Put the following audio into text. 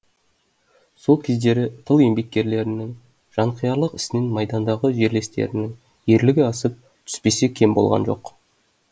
сол кездері тыл еңбеккерлерінің жанқиярлық ісінен майдандағы жерлестерінің ерлігі асып түспесе кем болған жоқ